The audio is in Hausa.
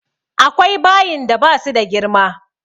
Akwai bayin da ba su da girma.